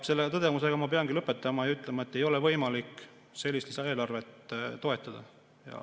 Selle tõdemusega ma peangi lõpetama ja ütlema, et ei ole võimalik sellist lisaeelarvet toetada.